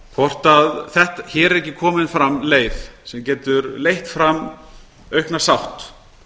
hvort hér er ekki komin fram leið sem getur leitt fram aukna sátt